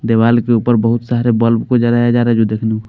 दीवाल के ऊपर बहुत सारे बल्ब को जराया जा रहा है जो देखने को --